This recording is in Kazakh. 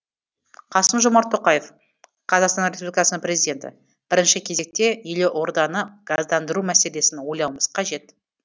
қасым жомарт тоқаев қазақстан республикасының президенті бірінші кезекте елорданы газдандыру мәселесін ойлауымыз қажет